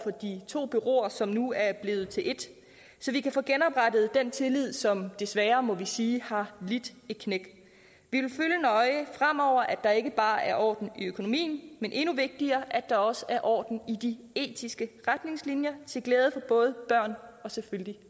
med de to bureauer som nu er blevet til et så vi kan få genoprettet den tillid som desværre må vi sige har lidt et knæk fremover at der ikke bare er orden i økonomien men endnu vigtigere at der også er orden i de etiske retningslinjer til glæde for både børn og selvfølgelig